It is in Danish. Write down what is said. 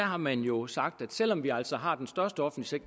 har man jo sagt at selv om vi altså har den største offentlige